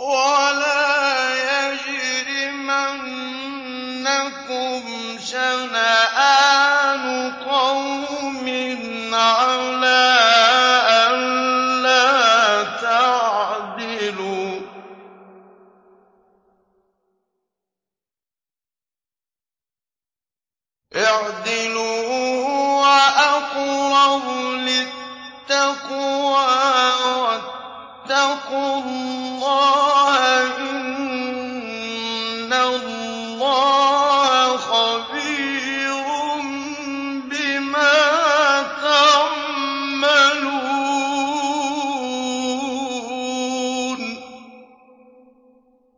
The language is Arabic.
وَلَا يَجْرِمَنَّكُمْ شَنَآنُ قَوْمٍ عَلَىٰ أَلَّا تَعْدِلُوا ۚ اعْدِلُوا هُوَ أَقْرَبُ لِلتَّقْوَىٰ ۖ وَاتَّقُوا اللَّهَ ۚ إِنَّ اللَّهَ خَبِيرٌ بِمَا تَعْمَلُونَ